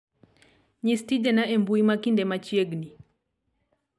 nyis tijena e mbui ma kinde machiegni